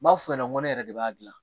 N m'a f'u ɲɛna n ko ne yɛrɛ de b'a dilan